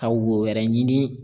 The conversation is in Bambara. Ka wo wɛrɛ ɲini